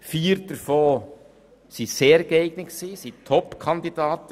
Vier davon wären sehr geeignete Top-Kandidaten.